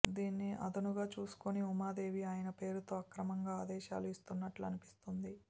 దీన్ని అదనుగా చూసుకుని ఉమాదేవీ ఆయన పేరుతో అక్రమంగా ఆదేశాలు ఇస్తున్నట్లు అన్పిస్తోంది